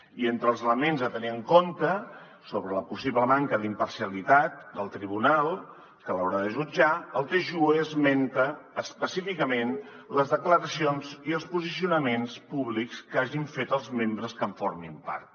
i entre els elements a tenir en compte sobre la possible manca d’imparcialitat del tribunal que l’haurà de jutjar el tjue esmenta específicament les declaracions i els posicionaments públics que hagin fet els membres que en formin part